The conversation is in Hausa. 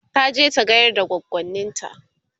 taje ta gayar da goggonint